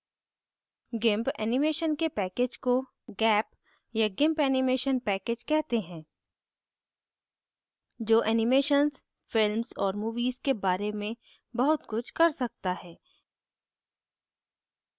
gimp animation के package को gap या gimp animation package कहते हैं जो animations films और movies के बारे में बहुत कुछ कर सकता है